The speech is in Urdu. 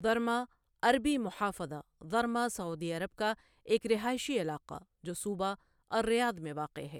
ضرما عربی محافظة ضرما سعودی عرب کا ایک رہائشی علاقہ جو صوبہ الریاض میں واقع ہے